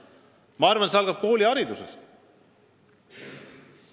Ma arvan, et see algab kooliharidusest.